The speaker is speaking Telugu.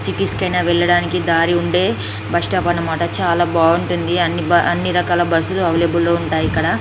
సిటీ అయినా వెళ్లడానికి దారి ఉండే బస్ స్టాప్ అని మాట చాలా బాగుంటుంది అంటే అన్ని రకాల బస్సు లు అవైలబుల్ గా ఉంటాయి ఇక్కడ.